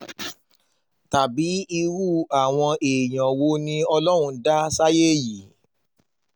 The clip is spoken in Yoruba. tàbí irú àwọn èèyàn wo ni ọlọ́run dá sáyé yìí